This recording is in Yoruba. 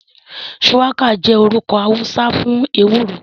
Shuwaka jẹ orukọ Hausa fun ewuro.